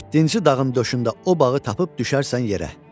Yeddinci dağın döşündə o bağı tapıb düşərsən yerə.